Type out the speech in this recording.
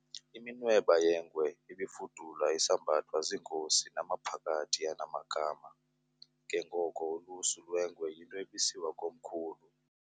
Iminweba yengwe ibifudula isambathwa ziinkosi namaphakathi anamagama, ke ngoko ulusu lwengwe yinto ebisiwa komkhulu